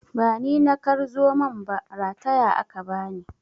Ba ni na kar zomon ba, rataya aka bani.